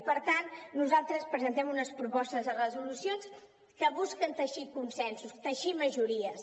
i per tant nosaltres presentem unes propostes de resolució que busquen teixir consensos teixir majories